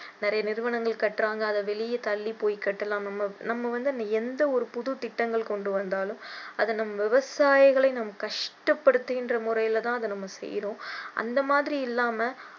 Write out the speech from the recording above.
நிறைய நிறுவனங்கள் கட்டுறாங்க ஆனா அதை வெளிய தள்ளி போய் கட்டலாம் நம்ம நம்ம வந்து எந்த ஒரு புது திட்டங்கள் கொண்டு வந்தாலும் அதை நம்ம விவசாயிகளை கஷ்டப்படுத்துகின்ற முறையில தான் நம்ம செய்கிறோம் அந்த மாதிரி இல்லாம